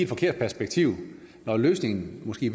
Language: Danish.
forkert perspektiv når løsningen måske